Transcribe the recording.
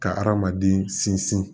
Ka hadamaden sinsin